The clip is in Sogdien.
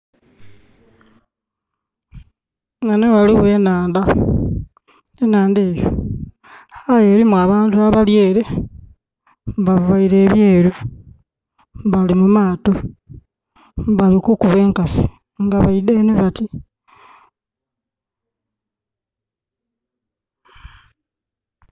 Ghano ghaligho enhaandha. Enhaandha enho aye erimu abantu abali ere. Bavaire ebyeelu, bali mumaato nga bali kukuba enkasi nga baidha eno bati.